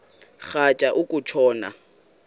rhatya uku tshona